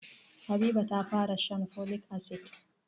Habiba ta fara shan folic asid.